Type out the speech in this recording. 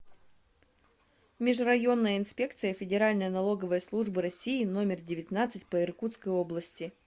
межрайонная инспекция федеральной налоговой службы россии номер девятнадцать по иркутской области